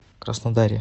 краснодаре